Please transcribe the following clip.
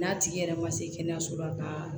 N'a tigi yɛrɛ ma se kɛnɛyaso la ka